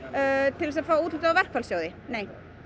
til að fá úthlutað úr verkfallssjóði nei